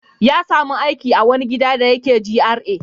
Ya sami aikin gadi a wani gida da yake GRA.